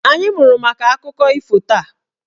Anyị mụrụ maka akụkọ ifo taa.